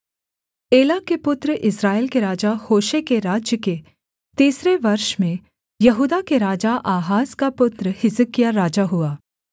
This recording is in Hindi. एला के पुत्र इस्राएल के राजा होशे के राज्य के तीसरे वर्ष में यहूदा के राजा आहाज का पुत्र हिजकिय्याह राजा हुआ